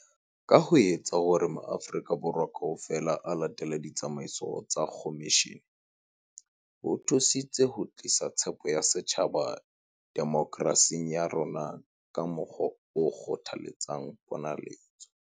Ka ho etsa hore maAfri-ka Borwa kaofela a latele ditsamaiso tsa khomishene, ho thusitse ho tlisa tshepo ya setjhaba demokerasing ya rona ka mokgwa o kgothaletsang ponaletso.